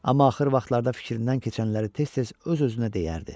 Amma axır vaxtlarda fikrindən keçənləri tez-tez öz-özünə deyərdi.